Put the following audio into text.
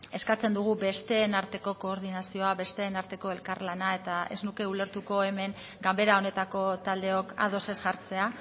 eskatzen dugu besteen arteko koordinazioa besteen arteko elkarlana eta ez nuke ulertuko hemen ganbera honetako taldeok ados ez jartzea